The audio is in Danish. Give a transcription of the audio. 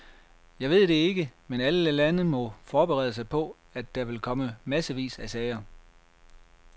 Jeg ved det ikke, men alle lande må forberede sig på, at der vil komme massevis af sager.